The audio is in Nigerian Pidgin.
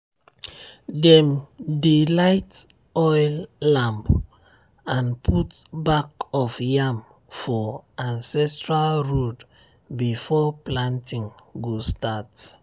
dem dey light oil lamp and put back of yam for ancestral road before planting go start.